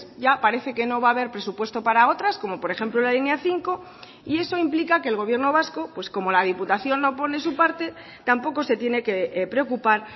ya parece que no va a haber presupuesto para otras como por ejemplo la línea cinco y eso implica que el gobierno vasco pues como la diputación no pone su parte tampoco se tiene que preocupar